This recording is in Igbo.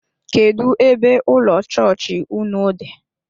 Kedụ ebe ụlọ chọọchị ụnụ dị?